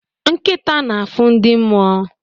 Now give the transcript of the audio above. Nkịta na-afụ ndị mmụọ